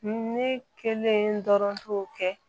Ne kelen dɔrɔn t'o kɛ